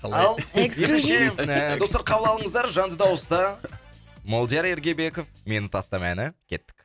ал эксклюзив ендеше достар қабыл алыңыздар жанды дауыста молдияр ергебеков мені тастама әні кеттік